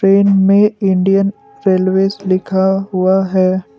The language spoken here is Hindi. ट्रेन मे इंडियन रेलवेज़ लिखा हुआ है।